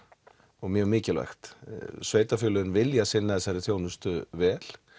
og mjög mikilvægt sveitafélögin vilja sinna þessari þjónustu vel